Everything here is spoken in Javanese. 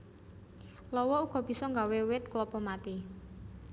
Lawa uga bisa nggawé wit klapa mati